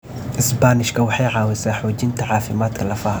Isbaanishka waxay caawisaa xoojinta caafimaadka lafaha.